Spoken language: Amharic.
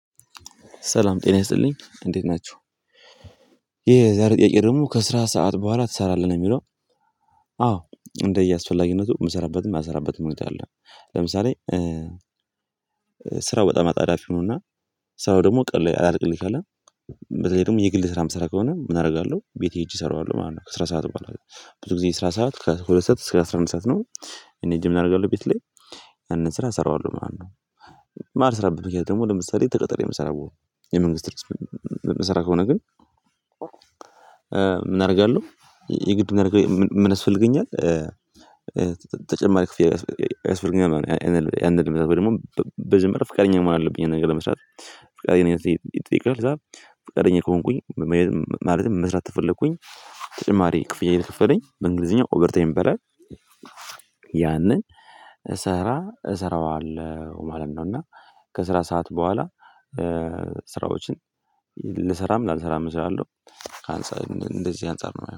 ሰላም ጤና ይስጥልኝ እንዴት ናችሁ ይሄ የዛሬ ጥያቄ ደግሞ ከስራ ሰዓት በኋላ ትሰራለህ ነው የሚለው? አዎ እንደየአስፈላጊነቱ የምሰራበትም የማልሰራበትም ሁነት አለ። ለምሳሌ ስራው በጣም አጣዳፊ ሆኖና። ስራው ደግሞ ቀን ላይ አላልቅልኝ ካለ። በተለይ ደግሞ የግል ስራ የምሰራ ከሆነ ምን አደርጋለሁ ቤቴ ሄጄ እሰራዋለሁ ማለት ነው። ከስራ ሰዓት በኋላ ብዙ ጊዜ ስራ ሰዓት ከሁለት ሰዓት እስከ አስራ አንድ ሰዓት ነው። እኔ ሄጄ ምን አደርጋለሁ ቤት ላይ። ያንን ስራ እሰራዋለሁ ማለት ነው። የማልስራበት ምክንያት ደግሞ ለምሳሌ ተቀጥሬ የምሰራ የመንግስት የምስራ ከሆነ ግን። ምን አደርጋለሁ የግድ ምን ያስፈልገኛል። ተጨማሪ ክፍያ ያስፈልገኛል አንድ ወይም ደግሞ መጀመርያ ፍቃደኛ መሆን አለብኝ ይሄን ነገር ለመስራት ፍቃደኝነቴ ይጠየቃል። ፍቃደኛ ከሆንኩኝ ማለትም መስራት ተፈለኩኝ ተጨማሪ ክፍያ እየከፈለኝ በእንግሊዝኛው ኦቨርታይም ይባላል። ያንን እሰራ እሰራዋለሁ ማለት ነው። እና ከስራ ሰዓት በኋላ ስራዎችን ልሰራም ላልሰራም እሰራለሁ። ካንጻር እንደዚህ አንፃር ነው የማየው